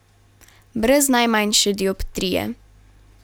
Brez najmanjše dioptrije.